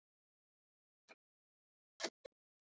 Þá ganga þeir aftur af göflunum.